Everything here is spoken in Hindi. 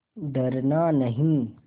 डरना नहीं